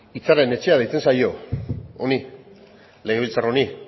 hitzaren etxea deitzen zaio honi legebiltzar honi